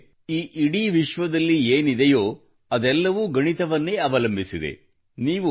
ಅಂದರೆ ಈ ಇಡೀ ವಿಶ್ವದಲ್ಲಿ ಏನಿದೆಯೋ ಅದೆಲ್ಲವೂ ಗಣಿತವನ್ನೇ ಅವಲಂಬಿಸಿದೆ